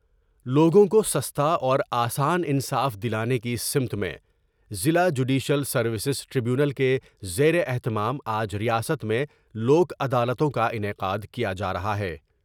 لوگوں کو سستا اور آسان انصاف دلانے کی سمت میں ضلع جوڈشیل سرویسیز ٹریبیونل کے زیر اہتمام آج ریاست میں لوک عدالتوں کا انعقاد کیا جا رہا ہے ۔